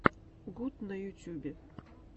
гуд на ютубе